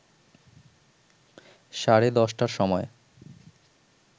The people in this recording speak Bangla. সাড়ে ১০টার সময়